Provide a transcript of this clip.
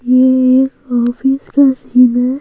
ये एक ऑफिस का सीन है।